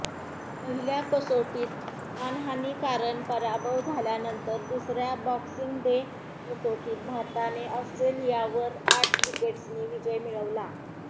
पहिल्या कसोटीत मानहानीकारण पराभव झाल्यानंतर दुसऱ्या बॉक्सिंग डे कसोटीत भारताने ऑस्ट्रेलियावर आठ विकेट्सनी विजय मिळवला